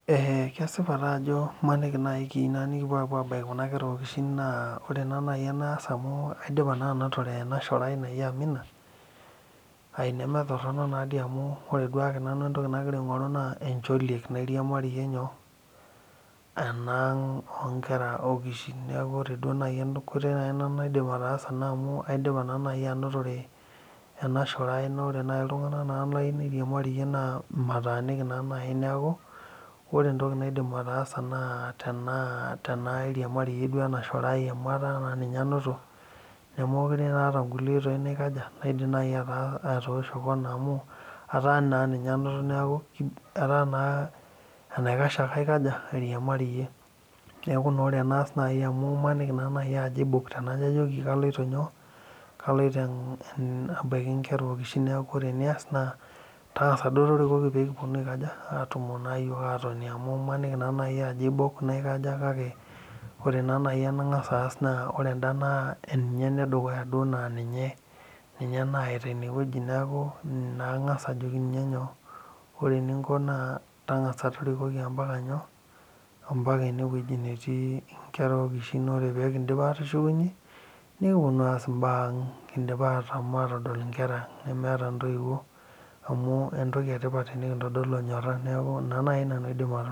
Eeh kesipa taa ajo imaniki naaji keyieu nikipuo abaiki kuna kera okishin naa ore naaji eniyieu naas amu aidipa naa anotore ena shore aai naji amina aai nemetoronok naadoi amu ore duake entoki nagira aing'oru naa encholiek nairiamarie enaang oonkera okishin neeku ore duo enkoitoi naaji naidim ataasa naa amu aidipa naa naaji anotore enashore aai naa ore naaji iltung'anak layieu nairiamarie naa mataaniki naa naaji neeku ore entoki naidim ataasa naa tenaairiamarie naa ena shore aai amu etaa naa ninye anoto mekure taa aata kulie oitoi naidim naaji atoosho kona amu etaa naa enaikash ake aikaja airiamarie neeku naa ore enaash amu imaniki naaji aibok tenajo ajoki kaloito abaiki inkera okishin neeku ore enias neeku tang'asa duo torikoki peekipuoni aatoni amu imaniki naaji ajo aibok naikaja kake ore naa naaji enang'as aas naa ore endaa naa ninye enedukuya naa ninye naayaita ine wueji neeku ina aang'as ajoki ninye nyoo ore eninko naa tang'asa torikoki ombaka nyoo ombaka enewueji netii inkera okish ore peekindip aatushukunyie nikipuonuu aas imbaa ang kindipa aashom atodua inkera aang nemeeta intoiwuo amu entoki etipa tenikindolu enyora neeku ina naaji nanu aidim atolimu